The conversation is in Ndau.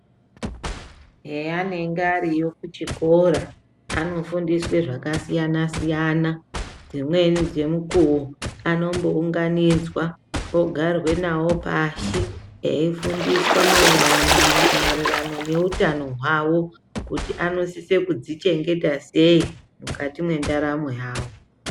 Heanenge ariyo kuchikora anofundiswe zvakasiyana siyana dzimweni dzenguwa anombounganidzwa ogarwe nawo pashi eifundiswa maererano noutano hwavo kuti anosise kudzichengeta sei mukati mendaramo yawo.